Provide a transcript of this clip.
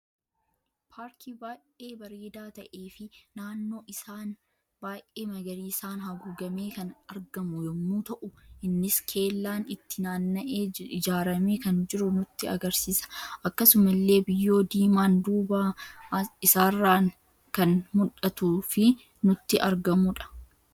Paarkii baay'ee bareeda ta'ee fi naannoo isaan baay'ee magariisan haguugame kan argamu yemmu ta'u, innis keellaan itti naanna'ee ijraame kan jiru nutti agarsiisa. Akkasumallee biyyoo diimaan dubaa isaarran kan mudhatuu fi nutti argamudha.